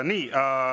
Nii.